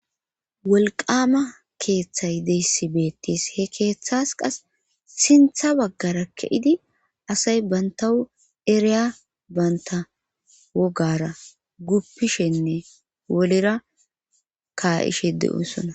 Wolqama keeththay deyssi beettis he keeththas qas sintha baggara ke7idi asay bantawu ereya banta wogara guppishenne wolera ka'ishe de7osona.